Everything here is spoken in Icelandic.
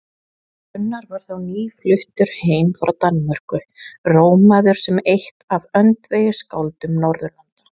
Gunnar var þá nýfluttur heim frá Danmörku, rómaður sem eitt af öndvegisskáldum Norðurlanda.